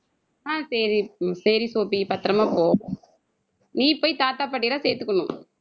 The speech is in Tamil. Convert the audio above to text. ஆஹ் சரி சரி சோபி பத்திரமா போ. நீ போய் தாத்தா, பாட்டி எல்லாம் சேர்த்துக்கணும்.